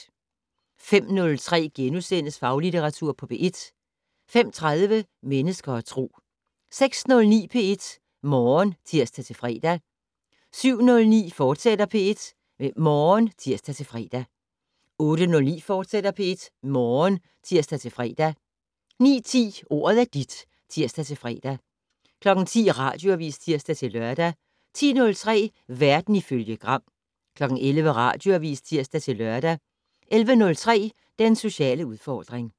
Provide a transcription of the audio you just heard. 05:03: Faglitteratur på P1 * 05:30: Mennesker og Tro 06:09: P1 Morgen (tir-fre) 07:09: P1 Morgen, fortsat (tir-fre) 08:09: P1 Morgen, fortsat (tir-fre) 09:10: Ordet er dit (tir-fre) 10:00: Radioavis (tir-lør) 10:03: Verden ifølge Gram 11:00: Radioavis (tir-lør) 11:03: Den sociale udfordring